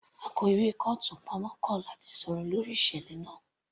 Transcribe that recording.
Akó ìwé kọ́ọ̀tù pamọ́ kọ̀ láti sọ̀rọ̀ lórí ìṣẹ̀lẹ̀ náà